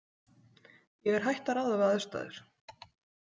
Ég er hætt að ráða við aðstæður.